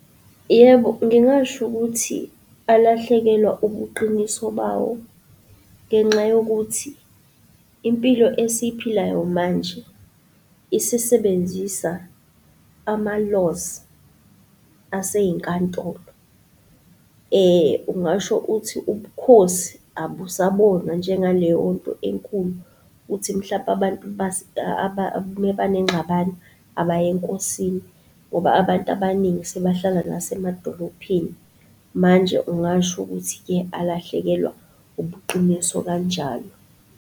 Yebo, ngingasho ukuthi alahlekelwa ubuqiniso bawo, ngenxa yokuthi, impilo esiyiphilayo manje, isisebenzisa, ama-laws asey'nkantolo. Ungasho uthi, ubukhosi abusabonwa njengaleyonto enkulu, ukuthi mhlampe abantu abanenxabano abaye enkosini, ngoba abantu abaningi sebehlala nasemadolophini. Manje ungasho ukuthi-ke, alahlekelwa ubuqiniso kanjalo.